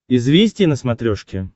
известия на смотрешке